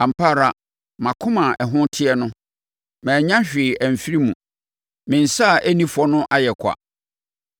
Ampa ara, mʼakoma a ɛho teɛ no, mannya hwee amfiri mu; me nsa a ɛnni fɔ no ayɛ kwa.